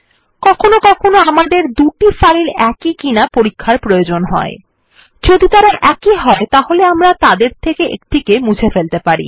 কখনও কখনও আমাদের দুটি ফাইল একই কিনা পরীক্ষার প্রয়োজন হয় যদি তারা একই হয় তাহলে আমরা তাদের থেকে একটা কে মুছে ফেলতে পারি